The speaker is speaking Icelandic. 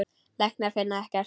Læknar finna ekkert.